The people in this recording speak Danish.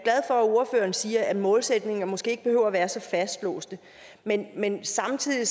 ordføreren siger at målsætninger måske ikke behøver at være så fastlåste men samtidig